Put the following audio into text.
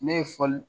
Ne ye fali